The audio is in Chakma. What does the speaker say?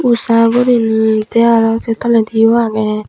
usha guriney te aro se toledi o aage.